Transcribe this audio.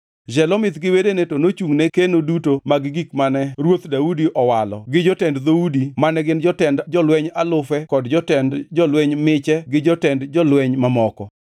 Shelomith gi wedene to nochungʼne keno duto mag gik mane Ruoth Daudi owalo gi jotend dhoudi mane gin jotend jolweny alufe kod jotend jolweny miche to gi jotend jolweny mamoko.